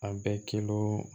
A bɛ kilo